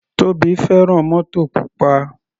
Tobi fẹ́ràn mótò pupa.